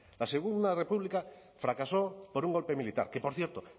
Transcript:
la segundo república fracasó por un golpe militar que por cierto